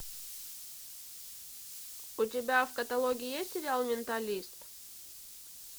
у тебя в каталоге есть сериал менталист